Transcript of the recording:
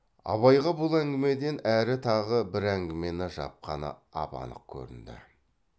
абайға бұл әңгімеден әрі тағы бір әңгімені жапқаны ап анық көрінді